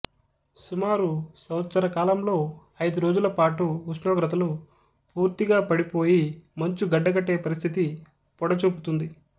సుమారు సంవత్సరకాలంలో అయిదు రోజుల పాటు ఉష్ణోగ్రతలు పూర్తిగా పడి పోయి మంచు గడ్డకట్టే పరిస్థితి పొడచూపుతుంది